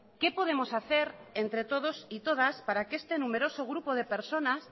qué podemos hacer entre todos y todas para que este numeroso grupo de personas